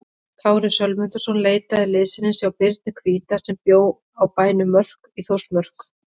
Kári Sölmundarson leitaði liðsinnis hjá Birni hvíta sem bjó á bænum Mörk í Þórsmörk.